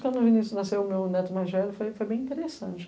Quando o Vinícius nasceu, o meu neto mais velho foi foi bem interessante.